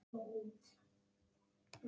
Það er voða mikið fallið á hann.